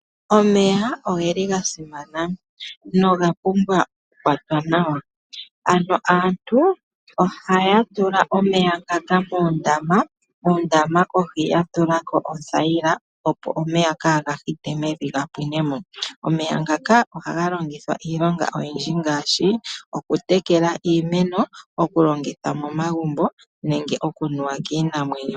Omeya oge li ga simana, noga pumbwa oku kwatwa nawa. Ano aantu ohaya tula omeya ngaka moondama, mondama kohi ya tulako othayila opo omeya gaa hite mevi ga pwinemo. Omeya ngaka oha ga longithwa iilonga oyindji ngaashi oku tekela iimeno, oku longitha momagumbo nenge oku nuwa kiinamwenyo.